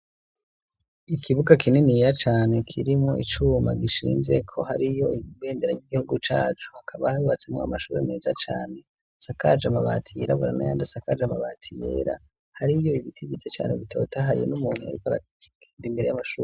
Ikibuga kininiya cane kirimwo icuma gishinzeko hariyo ibendera ry'igihugu cacu, hakaba hubatsemwo amashuri meza cane, isakaje amabati y'irabura nayandI asakaje amabati yera, hariyo ibiti vyinshi cane bitotahaye n'umuntu aba imbere y'amashuri.